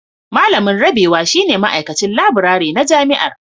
Malamin Rabewa shine Ma'aikacin Laburare na Jami'ar